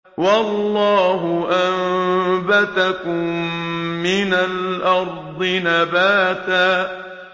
وَاللَّهُ أَنبَتَكُم مِّنَ الْأَرْضِ نَبَاتًا